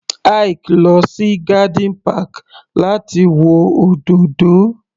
Ike lọ sí garden park láti wo òdòdó